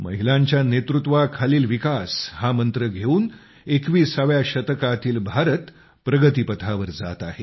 महिलांच्या नेतृत्वाखालील विकास हा मंत्र घेऊन 21व्या शतकातील भारत प्रगतीपथावर जात आहे